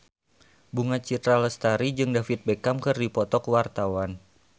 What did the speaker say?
Bunga Citra Lestari jeung David Beckham keur dipoto ku wartawan